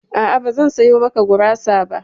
A'a, bazan sayo maka gurasa ba.